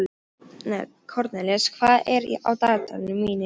Kornelíus, hvað er á dagatalinu mínu í dag?